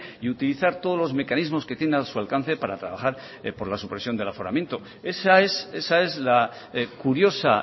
y utilizar todos los mecanismos que tiene a su alcance para trabajar por la supervisión del aforamiento esa es la curiosa